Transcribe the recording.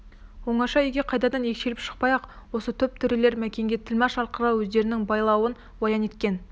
оңаша үйге қайтадан екшеліп шықпай-ақ осы топ төрелер мәкенге тілмаш арқылы өздерінің байлауын баян еткен